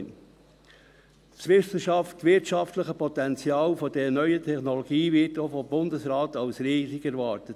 Das wissenschaftliche und wirtschaftliche Potenzial dieser neuen Technologie wird auch vom Bundesrat als riesig erwartet.